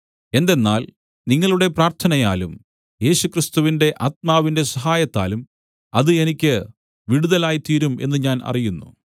എന്തെന്നാൽ നിങ്ങളുടെ പ്രാർത്ഥനയാലും യേശുക്രിസ്തുവിന്റെ ആത്മാവിന്റെ സഹായത്താലും അത് എനിക്ക് വിടുതലായിത്തീരും എന്ന് ഞാൻ അറിയുന്നു